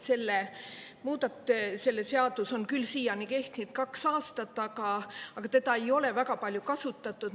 See seadus on küll siiani kehtinud kaks aastat, aga teda ei ole väga palju kasutatud.